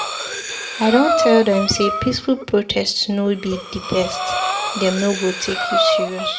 I don tell dem sey peaceful protest no be di best, dem no go take you serious.